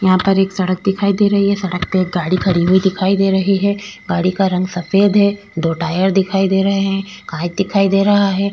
यहा पर एक सड़क दिखाई दे रही है सड़क पे एक गाड़ी खड़ी हुई दिखाई दे रही है गाड़ी का रंग सफ़ेद है दो टायर दिखाई दे रहे है काँच दिखाई दे रहा है।